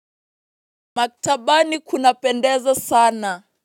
Maktabani kunapendeza sana.